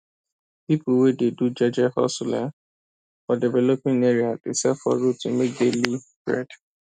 people wey dey do jeje hustle um for developing area dey sell for road to make daily bread